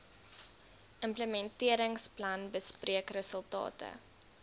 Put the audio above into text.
implementeringsplan bespreek resultate